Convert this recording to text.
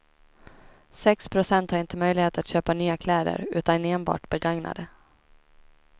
Sex procent har inte möjlighet att köpa nya kläder, utan enbart begagnade.